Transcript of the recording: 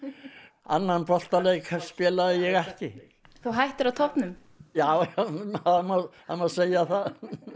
annan boltaleik spilaði ég ekki hættir á toppnum já það má segja það